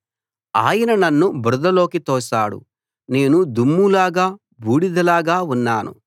ఆయన నన్ను బురదలోకి తోసాడు నేను దుమ్ములాగా బూడిదలాగా ఉన్నాను